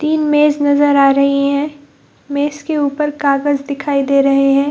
तीन मेज नजर आ रही हैं मेज के ऊपर कागज दिखाई दे रहे हैं ।